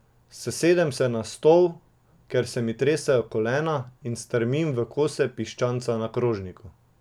Sesedem se na stol, ker se mi tresejo kolena, in strmim v kose piščanca na krožniku.